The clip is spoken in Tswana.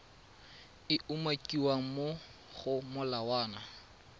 e umakiwang mo go molawana